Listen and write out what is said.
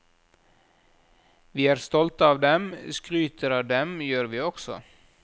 Vi er stolte av dem, skryter av dem gjør vi også.